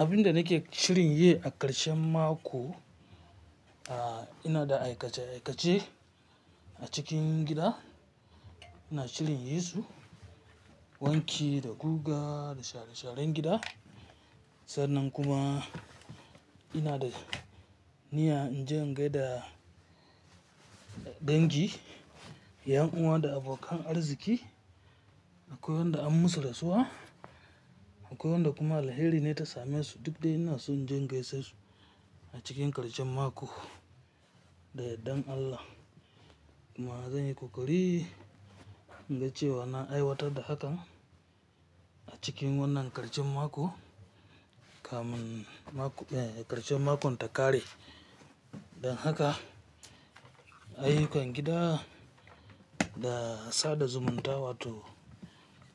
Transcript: Abinda nake shirin yi a ƙarshen mako, ah, ina da aikace aikace a cikin gida. Ina shirin yi su wanki, da guga, da share-sharen gida. Sannan kuma ina da niyya in je in gaida dangi, 'yan uwa da abokan arziki, akwai wanda an'yi masu rasuswa, akwai wanda kuma alheri na yi tsame su. Duk dai ina so in je in gaishe su a cikin ƙarshen mako, da yardan Allah. Kuma zan yi ƙoƙari, inga cewa na aiwatar da hakan a cikin wannan ƙarshen mako. Kamin, mako, eh, ƙarshen makon ta kare. Don haka a yi kwangida da sada zumunta wato